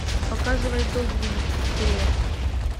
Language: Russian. показывай догвилль пилот